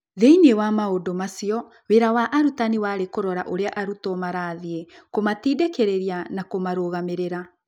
Thĩinĩ wa maũndũ macio, wĩra wa arutani warĩ kũrora ũrĩa arutwo marathiĩ, kũmatindĩkĩrĩria, na kũmarũgamĩrĩra.